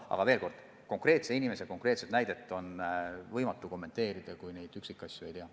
Aga veel kord: konkreetse inimese konkreetset pensioni on võimatu kommenteerida, kui üksikasju ei tea.